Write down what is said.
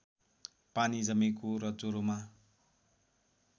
पानी जमेको र ज्वरोमा